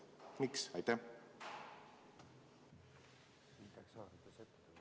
Miks?